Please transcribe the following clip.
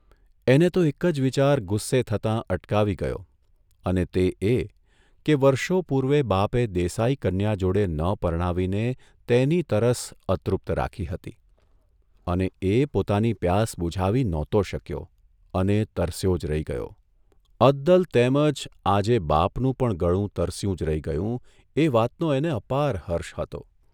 એને તો એક જ વિચાર ગુસ્સે થતાં અટકાવી ગયો અને તે એ કે વર્ષો પૂર્વે બાપે દેસાઇ કન્યા જોડે ન પરણાવીને તેની તરસ અતૃપ્ત રાખી હતી અને એ પોતાની પ્યાસ બુઝાવી નહોતો શક્યો અને તરસ્યો જ રહી ગયો અદલ તેમજ જ આજે બાપનું પણ ગળું તરસ્યું જ રહી ગયું એ વાતનો એને અપાર હર્ષ હતો !